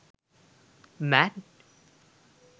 mad